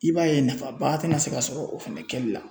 I b'a ye nafaba tɛna se ka sɔrɔ o fɛnɛ kɛli la .